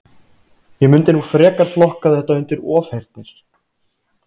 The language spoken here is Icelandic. Ég mundi nú frekar flokka þetta undir ofheyrnir.